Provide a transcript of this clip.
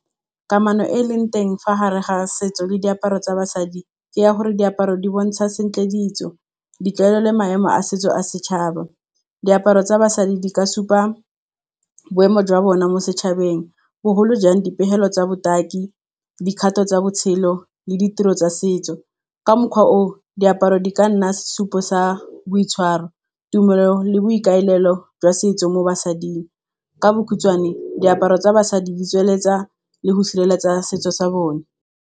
Kamano e e leng teng fa gare ga setso le diaparo tsa basadi ke ya gore diaparo di bontsha sentle ditso, ditlwaelo le maemo a setso a setšhaba. Diaparo tsa basadi di ka supa boemo jwa bona mo setšhabeng. Bogolo jang dipegelo tsa botaki, dikgato tsa botshelo le ditiro tsa setso. Ka mokgwa oo, diaparo di ka nna sesupo sa boitshwaro, tumelo le boikaelelo jwa setso mo basading. Ka bokhutswane diaparo tsa basadi di tsweletsa le go sireletsa setso sa bone.